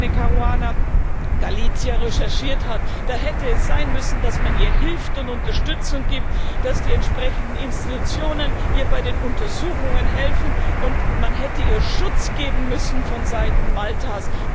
Daphne Caruana Galizia recherchiert hat da hätte es sein müssen, dass man ihr hilft und Unterstützung gibt, dass die entsprechenden Institutionen ihr bei den Untersuchungen helfen, und man hätte ihr Schutz geben müssen vonseiten Maltas.